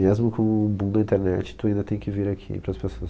Mesmo com o boom da internet, tu ainda tem que vir aqui pras pessoas.